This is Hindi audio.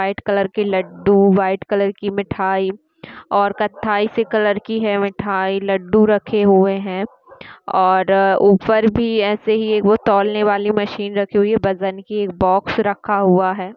व्हाइट कलर के लड्डू व्हाइट कलर की मिठाई और कत्थाई से कलर की है मिठाई लड्डू रखे हुए है और ऊपर भी ऐसे ही वो तौलने वाली मशीन रखी हुई है बजन की एक बॉक्स रखा हुआ है।